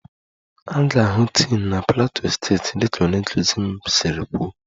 A ga-ahụ tin na plateau steeti dịka onye nkuzi m siri kwuo